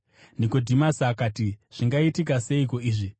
Nikodhimasi akati, “Zvingaitika seiko izvi?”